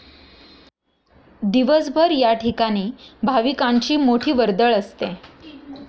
दिवसभर या ठिकाणी भाविकांची मोठी वर्दळ असते.